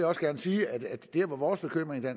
også gerne sige at det vores bekymring i